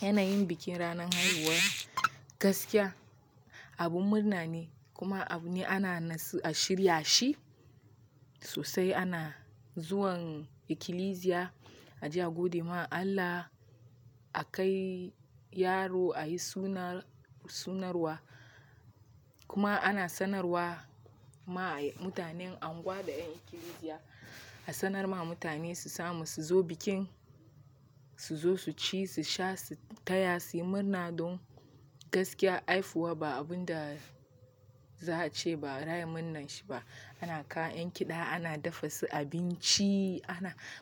Yana yin bikin ranar haihuwa gaskiya abun murna ne kuma abu ne ana shirya shi sosai. Ana zuwan ikilisiya a je a gode ma Allah, a kai yaro a yi sunarwa kuma ana sanarwa ma mutanen anguwa da 'yan ikilisiya a sanar ma mutane su samu su zo bikin, su zo su ci, su sha, su taya, suyi murna dun gaskiya haihuwa ba abin da za a ce ba, raya murnan shi ba. Ana kawo 'yan kiɗa, ana dafa su abinci,